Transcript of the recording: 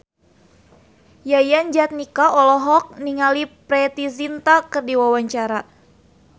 Yayan Jatnika olohok ningali Preity Zinta keur diwawancara